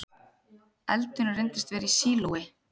Eldurinn reyndist vera í sílói